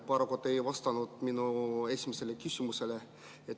Paraku te ei vastanud minu esimesele küsimusele.